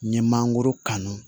N ye mangoro kanu